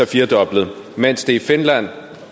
firedoblet mens det i finland